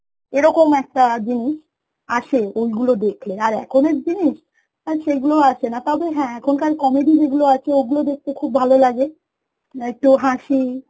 এরকম একটা জিনিস আসে ওই গুলো দেখলে আর এখনের জিনিস আর সেই গুলো আসে না তবে হ্যাঁ এখনকার comedy যেগুলো আছে ওই গুলো দেখতে খুব ভালো লাগে, একটু হাঁসি